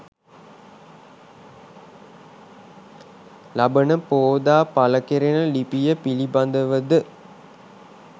ලබන පෝදා පළකෙරෙන ලිපිය පිළිබඳව ද